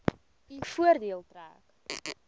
u voordeel trek